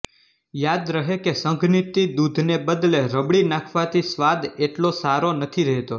યાદ રહે કે સંઘનિત દૂધને બદલે રબડી નાખવાથી સ્વાદ એટલો સારો નથી રહેતો